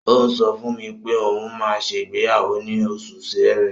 Ó ń sọ fún mi pé òun máa ṣe ìgbéyàwó ní oṣù Ṣẹrẹ.